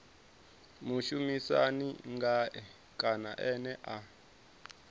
mushumisani ngae kana ene a